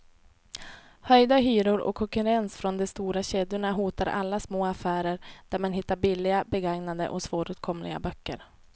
Höjda hyror och konkurrens från de stora kedjorna hotar alla små affärer där man hittar billiga, begagnade och svåråtkomliga böcker.